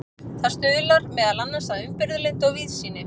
það stuðlar meðal annars að umburðarlyndi og víðsýni